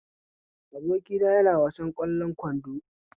Abokina yana wasan ƙwallon kwando